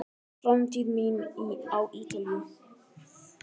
Framtíð mín á Ítalíu?